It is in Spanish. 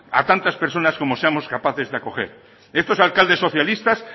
a tantas personas como seamos capaces de acoger estos alcaldes socialistas